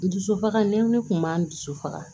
N dusufaga ne wili kun b'an dusu faga